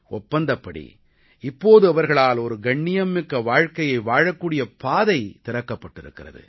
ஒப்பந்தப்படி இப்போது அவர்களால் ஒரு கண்ணியம் மிக்க வாழ்க்கையை வாழக்கூடிய பாதை திறக்கப்பட்டிருக்கிறது